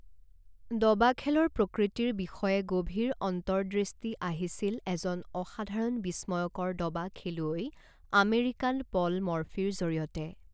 দবা খেলৰ প্ৰকৃতিৰ বিষয়ে গভীৰ অন্তৰ্দৃষ্টি আহিছিল এজন অসাধাৰণ বিশ্ময়কৰ দবা খেলুৱৈ, আমেৰিকান পল মৰ্ফিৰ জৰিয়তে।